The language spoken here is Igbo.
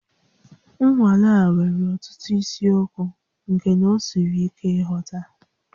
Nnwale a nwere ọtụtụ isiokwu nke na ọ siri ike nghọta